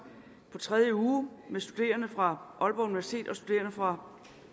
på sin tredje uge med studerende fra aalborg universitet og studerende fra